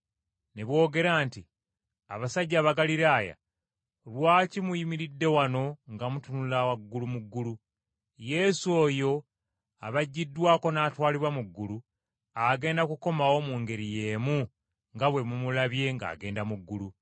ne boogera nti, “Abasajja Abagaliraaya, lwaki muyimiridde wano nga mutunula waggulu mu ggulu? Yesu oyo abaggiddwako n’atwalibwa mu ggulu, agenda kukomawo mu ngeri y’emu nga bwe mumulabye ng’agenda mu ggulu.”